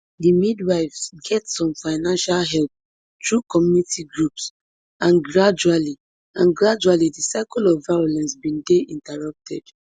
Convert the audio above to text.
di midwives get some financial help through community groups and gradually and gradually di cycle of violence bin dey interrupted